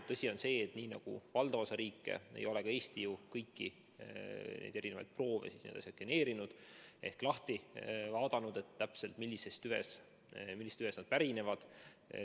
Tõsi on see, et nii nagu valdav osa riike ei ole ka Eesti ju kõiki proove sekveneerinud ehk vaadanud täpselt, millisest tüvest need pärinevad.